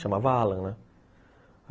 Chamava Allan, né?